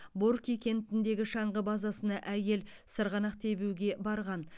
борки кентіндегі шаңғы базасына әйел сырғанақ тебуге барған